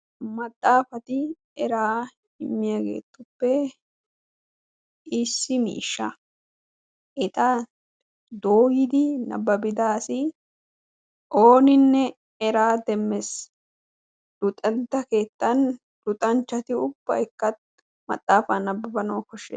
maxaafati eraa immiyaagetuppe issi miishsha eta doomidi nabbabida asi ooninne eraa demmees. luxanchcha keetta luxanchchati ubbaykka maxaafa nabbabanaw koshshees.